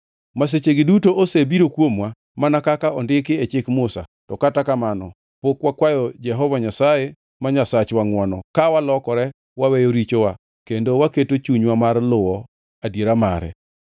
Masichegi duto osebiro kuomwa, mana kaka ondiki e Chik Musa, to kata kamano pok wakwayo Jehova Nyasaye ma Nyasachwa ngʼwono, ka walokore waweyo richowa kendo waketo chunywa mar luwo adiera mare.